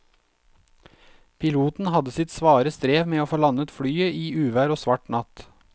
Piloten hadde sitt svare strev med å få landet flyet i uvær og svart natt.